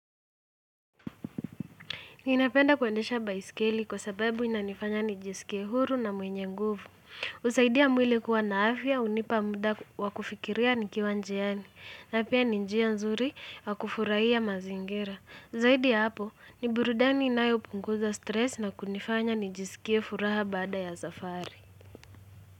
Ninapenda kuendesha baiskeli kwa sababu inanifanya nijisikie huru na mwenye nguvu. Husaidia mwili kuwa na afya hunipa muda wa kufikiria nikiwa njiani. Na pia ni njia nzuri wa kufurahia mazingira. Zaidi ya hapo, ni burudani inayo punguza stress na kunifanya nijisikie furaha baada ya safari.